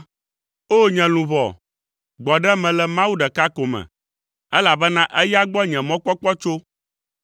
O! Nye luʋɔ, gbɔ ɖe eme le Mawu ɖeka ko me, elabena eya gbɔ nye mɔkpɔkpɔ tso.